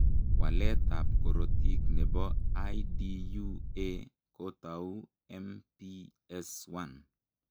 Waletab korotik nebo IDUA kotau MPS 1.